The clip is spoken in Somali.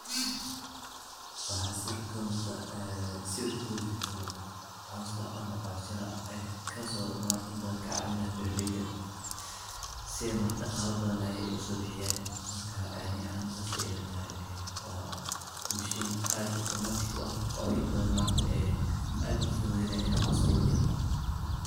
Waxaa sawirka ka muuqda ee sawirka laguu jiro jaro cooska ama coos yare kasoo maartay in badan kacaawina berlayda si mar dhaqaale badan ay u soo baxyaan markaa aanay an sii daataa oo machine aad automatic ah oo in badan maarta ee aad u fududeyna inay coosko ku jiro.